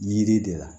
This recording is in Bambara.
Yiri de la